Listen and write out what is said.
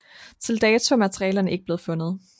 Til dato er malerierne ikke blevet fundet